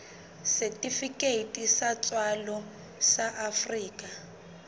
setifikeiti sa tswalo sa afrika